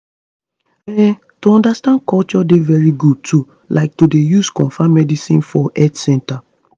um to understand culture dey very good too like to dey use confam medicines for health centers